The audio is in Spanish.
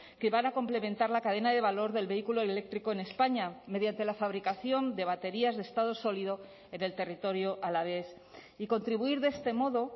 que van a complementar la cadena de valor del vehículo eléctrico en españa mediante la fabricación de baterías de estado sólido en el territorio alavés y contribuir de este modo